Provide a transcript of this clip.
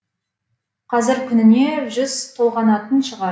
қазір күніне жүз толғанатын шығар